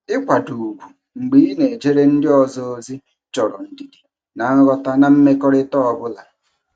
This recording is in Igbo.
Ịkwado ugwu mgbe ị na-ejere ndị ọzọ ozi chọrọ ndidi na nghọta na mmekọrịta ọ bụla.